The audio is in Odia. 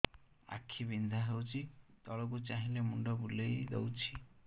ଆଖି ବିନ୍ଧା ହଉଚି ତଳକୁ ଚାହିଁଲେ ମୁଣ୍ଡ ବୁଲେଇ ଦଉଛି